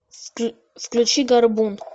включи горбун